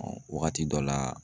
Ɔ wagati dɔ la